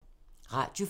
Radio 4